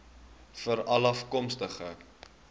veralafkomstig